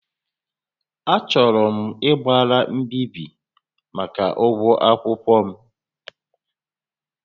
Achọrọ m ịgbara mbíbí màkà ụgwọ akwụkwọ m